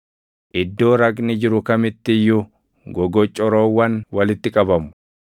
Iddoo raqni jiru kamitti iyyuu gogocorroowwan walitti qabamu.